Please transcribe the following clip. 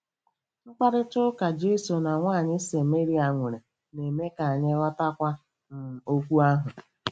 Mkparịta ụka Jesu na nwaanyị Sameria nwere na-eme ka anyị ghọtakwuo um okwu ahụ.